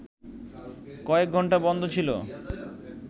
কয়েক ঘন্টা বন্ধ ছিল